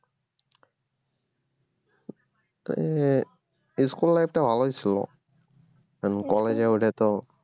তালে school life টা ভালোই ছিল কারণ college এ উঠে তো